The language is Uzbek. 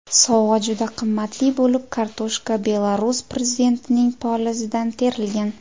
Sovg‘a juda qimmatli bo‘lib, kartoshka Belarus prezidentining polizidan terilgan.